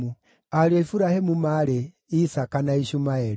Ariũ a Iburahĩmu maarĩ: Isaaka na Ishumaeli.